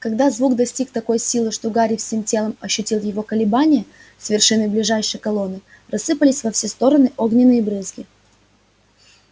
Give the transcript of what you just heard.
когда звук достиг такой силы что гарри всем телом ощутил его колебания с вершины ближайшей колонны рассыпались во все стороны огненные брызги